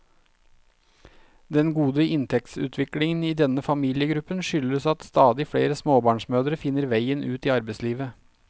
Den gode inntektsutviklingen i denne familiegruppen skyldes at stadig flere småbarnsmødre finner veien ut i arbeidslivet.